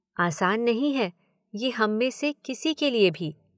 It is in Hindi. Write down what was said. आसान नहीं है ये हममें से किसी के लिए भी।